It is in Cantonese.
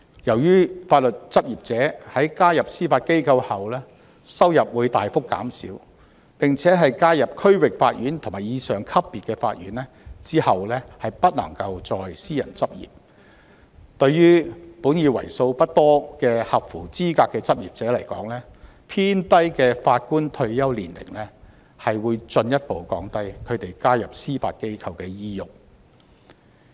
由於法律執業者在加入司法機構後收入會大幅減少，而在加入區域法院或以上級別法院後不能再私人執業，對於本已為數不多的合資格執業者而言，偏低的法官退休年齡會進一步降低他們加入司法機構的意欲。